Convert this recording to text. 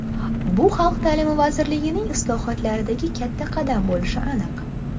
Bu xalq ta’limi vazirligining islohotlaridagi kata qadam bo‘lishi aniq.